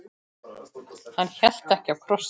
Hann hélt ekki á krossi.